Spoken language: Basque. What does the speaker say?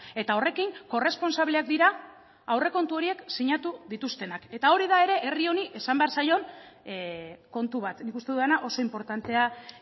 eta horrekin korresponsableak dira aurrekontu horiek sinatu dituztenak eta hori da ere herri honi esan behar zaion kontu bat nik uste dudana oso inportantea